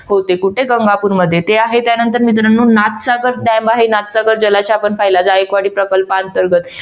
होते कुठे गंगापूर मध्ये ते आहे त्यानंतर मित्रांनो नाथसागर dam आहे नाथसागर जलाशय आपण पाहिला. जायकवाडी प्रकल्पाअंतर्गत